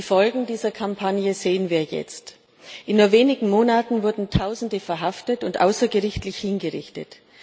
Die Folgen dieser Kampagne sehen wir jetzt. In nur wenigen Monaten wurden Tausende verhaftet und außergerichtlich hingerichtet.